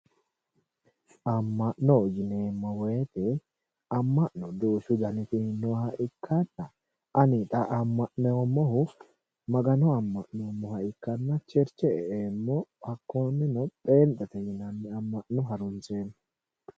Ama'no yineemmo woyte ,ama'no duuchu danniti nooha ikkanna ani xa ama'noommohu Magano ama'noommoha ikkanna cheriche e'eemmo hakkoneno penxete yinnanni ama'no harunseemmo.